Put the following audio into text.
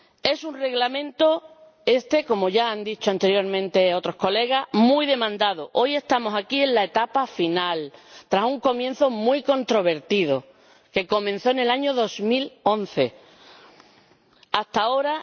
Es un Reglamento este, como ya han dicho anteriormente otros colegas, muy demandado. Hoy estamos aquí en la etapa final, tras un comienzo muy controvertido en el año 2011, y hasta ahora